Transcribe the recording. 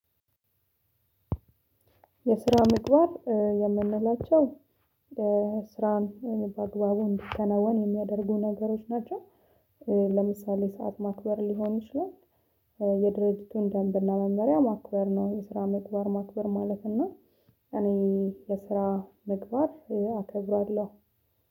የስራ ምግባር የምንላቸው ስራን በአግባቡ እንዲከናወን የሚያደርጉ ነገሮች ናቸው። ለምሳሌ ሰዓት ማክበር ሊሆን ይችላል። የድርጊቱን ደንብና መመሪያ ማክበር ነው። የስራ ምግባር ማክበር ማለት እና እኔ የስራ ምግባር አከብራለሁ።